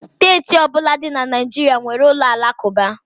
Steeti ọbụla dị na Naịjirịa nwere ụlọ alakụba